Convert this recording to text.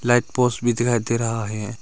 Light post भी दिखाई दे रहा है।